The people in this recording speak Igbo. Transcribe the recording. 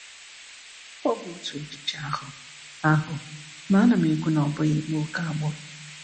Ọ bụ otu echiche ahụ, ahụ, ma ana m ekwu na ọ bụghị ịkpa ókè agbụrụ.